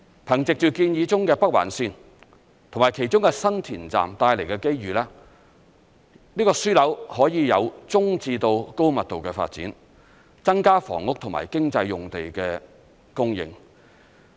憑藉着建議中的北環綫及其中的新田站帶來的機遇，這個樞紐可以有中至高密度的發展，增加房屋和經濟用地的供應。